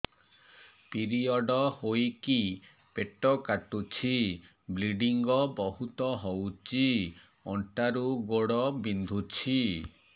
period ହୋଇକି ପେଟ କାଟୁଛି ବ୍ଲିଡ଼ିଙ୍ଗ ବହୁତ ହଉଚି ଅଣ୍ଟା ରୁ ଗୋଡ ବିନ୍ଧୁଛି